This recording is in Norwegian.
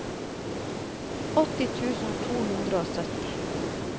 åtti tusen to hundre og sytti